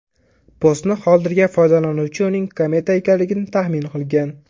Postni qoldirgan foydalanuvchi uning kometa ekanligini taxmin qilgan.